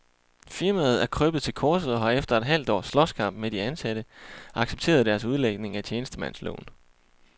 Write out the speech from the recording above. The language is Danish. Firmaet er krøbet til korset og har efter et halvt års slåskamp med de ansatte accepteret deres udlægning af tjenestemandsloven.